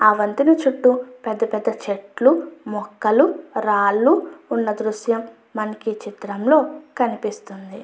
ఆ వంతెన చుట్టూ పెద్ద పెద్ద చెట్లు మొక్కలు రాళ్ళు ఉన్న దృశ్యం మనకి ఈ చిత్రం లో కనిపిస్తుంది.